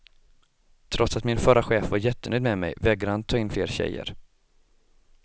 Trots att min förra chef var jättenöjd med mig vägrade han ta in fler tjejer.